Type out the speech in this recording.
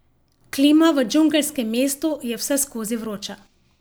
Klima v džungelskem mestu je vseskozi vroča.